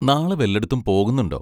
നാളെ വല്ലെടത്തും പോകുന്നുണ്ടോ?